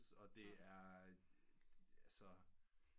Og det er altså